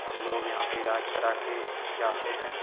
और लोग यहाँ पे इलाज कराके जाते है|